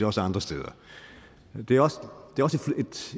også andre steder det er også